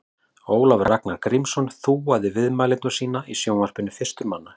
Ólafur Ragnar Grímsson þúaði viðmælendur sína í sjónvarpi fyrstur manna.